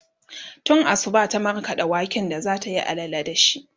tun Asuba ta markaɗa waken da zatayi allala da shi